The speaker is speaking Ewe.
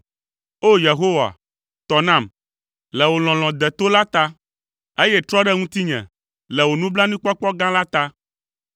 O! Yehowa, tɔ nam, le wò lɔlɔ̃ deto la ta, eye trɔ ɖe ŋutinye le wò nublanuikpɔkpɔ gã la ta.